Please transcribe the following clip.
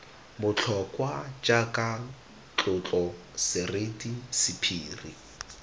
botlhokwa jaaka tlotlo seriti sephiri